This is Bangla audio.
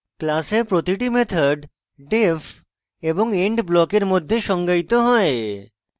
class a প্রতিটি method def এবং end ব্লকের মধ্যে সংজ্ঞায়িত হয়